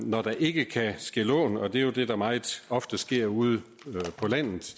når der ikke kan gives lån og det er jo det der meget ofte sker ude på landet